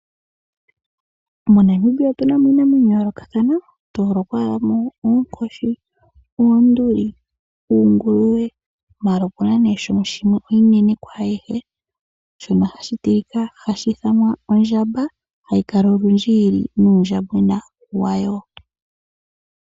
MoNamibia otuna mo iinamwenyo ya yoolokathana tal' moonkoshi, oonduli, uunguluwe maala opuna nee shimwe oshinene shono hashi tilika, shono hashi ithanwa ondjamba hayi kala olundji yili nuundjambwena wayo.